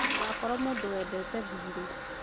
Ndũgakorwo mũndũwendete thiirĩ